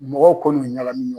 Mɔgɔw kɔni bɛ